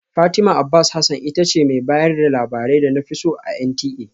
Fatima Abbas Hasan ita ce mai bayar da labarai da na fi so a NTA